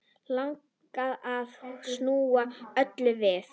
Langar að snúa öllu við.